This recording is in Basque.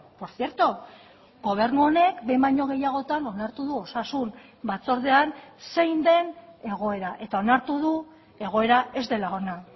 por cierto gobernu honek behin baino gehiagotan onartu du osasun batzordean zein den egoera eta onartu du egoera ez dela ona